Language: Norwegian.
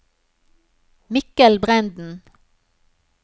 Mikkel Brenden